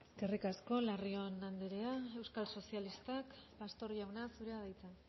eskerrik asko larrion anderea euskal sozialistak pastor jauna zurea da hitza